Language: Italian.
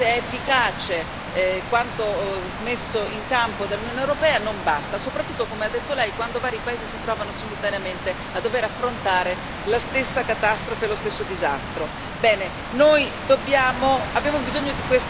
Allora non basta, l'abbiamo visto, anche se efficace, quanto messo in campo dall'Unione europea non basta, soprattutto, come ha detto Lei, quando vari paesi si trovano simultaneamente a dover affrontare la stessa catastrofe, lo stesso disastro.